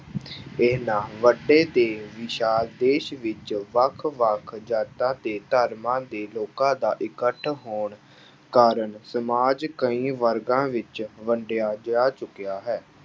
ਇੰਨਾ ਵੱਡੇ ਤੇ ਵਿਸ਼ਾਲ ਦੇਸ ਵਿੱਚ ਵੱਖ ਵੱਖ ਜਾਤਾਂ ਤੇ ਧਰਮਾਂ ਦੇ ਲੋਕਾਂ ਦਾ ਇਕੱਠ ਹੋਣ ਕਾਰਨ ਸਮਾਜ ਕਈ ਵਰਗਾਂ ਵਿੱਚ ਵੰਡਿਆ ਜਾ ਚੁੱਕਿਆ ਹੈ।